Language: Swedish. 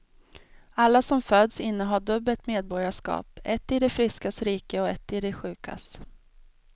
Alla som föds innehar dubbelt medborgarskap, ett i de friskas rike och ett i de sjukas.